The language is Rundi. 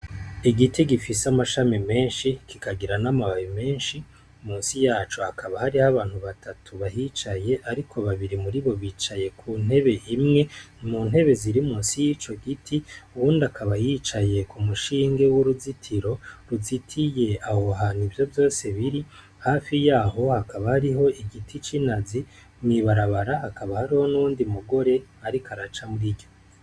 Igiti gifise amashami menshi kikagira n'amababe menshi musi yacu hakaba hariho abantu batatu bahicaye, ariko babiri muri bo bicaye ku ntebe imwe mu ntebe ziri mu si y'ico giti uwundi akaba yicaye ku mushinge w'uruzitiro ruziti ye awohana ivyo vyose biri hafi yae aho hakaba hariho igiti c'inazi mwibarabara hakaba hariho n'undi mugore, ariko araca muri ryo.